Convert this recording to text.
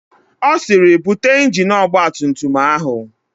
Ọ sịrị, "bute injini ọgbatumtum áhụ̀"!